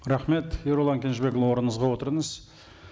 рахмет ерұлан кенжебекұлы орныңызға отырыңыз